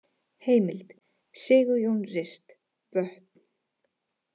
Heimild: Sigurjón Rist, Vötn.